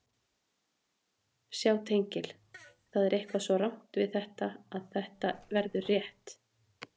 Sjá tengil Það er eitthvað svo rangt við þetta að þetta verður rétt.